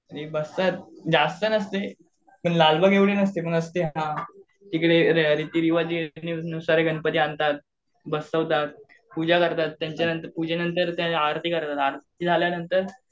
बसतात जास्त नसते पण लालबाबा एवढे नसते. पण असते हां. इकडे रीतिरिवाज नुसार गणपती आणतात, बसवतात, पूजा करतात पूजे नंतर आरती करतात आरती झाल्यानंतर